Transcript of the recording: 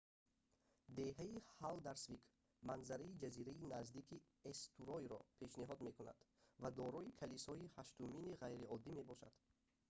деҳаи ҳалдарсвик манзараи ҷазираи наздики эстуройро пешниҳод мекунад ва дорои калисои ҳаштумини ғайриоддӣ мебошад